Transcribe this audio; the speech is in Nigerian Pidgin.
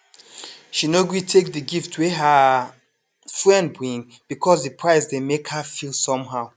she no gree take the gift wey her friend bring because the price dey make her feel somehow